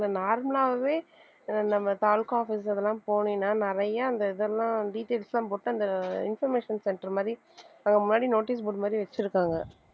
normal ஆவே நம்ம தாலுகா office அதெல்லாம் போனீனா நிறைய அந்த இதெல்லாம் details போட்டு அந்த information centre மாதிரி அங்க முன்னாடி notice board மாதிரி வச்சிருக்காங்க